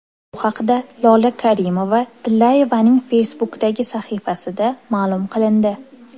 Bu haqda Lola Karimova-Tillayevaning Facebook’dagi sahifasida ma’lum qilindi .